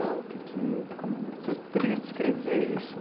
O que que... Como... Você poderia descrever isso?